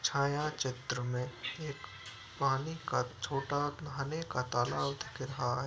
छायाचित्र में एक पानी का छोटा नहाने का तालाब दिखाई --